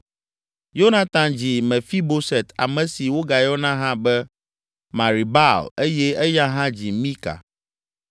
Yonatan dzi Mefiboset ame si wogayɔna hã be Meribaal eye eya hã dzi Mika.